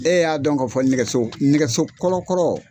E y'a dɔn ka fɔ nɛgɛso nɛgɛso kɔlɔ kɔrɔ.